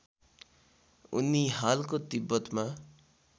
उनी हालको तिब्बतमा